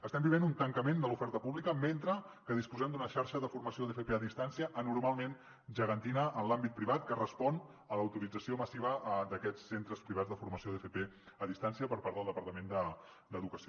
estem vivint un tancament de l’oferta pública mentre que disposem d’una xarxa de formació d’fp a distància anormalment gegantina en l’àmbit privat que respon a l’autorització massiva d’aquests centres privats de formació d’fp a distància per part del departament d’educació